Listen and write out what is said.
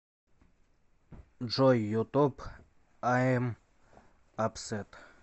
джой ютуб айэм апсэт